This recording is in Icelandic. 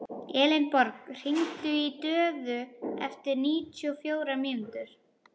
Elenborg, hringdu í Döðu eftir níutíu og fjórar mínútur.